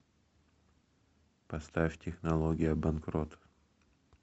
поставь технология банкрот